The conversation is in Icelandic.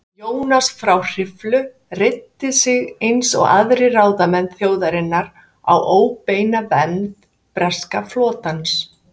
Jónas frá Hriflu reiddi sig eins og aðrir ráðamenn þjóðarinnar á óbeina vernd breska flotans.